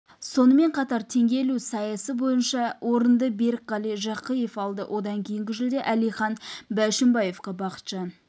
сонымен қатар теңге ілу сайысында бойынша орынды берікқали жақишев алды одан кейінгі жүлде әлихан бәшімбаевқа бақытжан